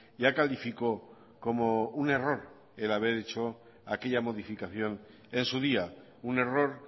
ya calificó como un error el haber hecho aquella modificación en su día un error